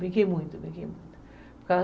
Brinquei muito, brinquei muito.